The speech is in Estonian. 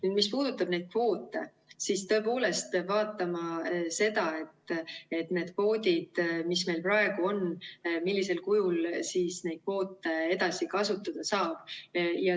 Ja mis puudutab kvoote, siis peab vaatama seda, millisel kujul neid kvoote, mis meil praegu on, edasi kasutada saab.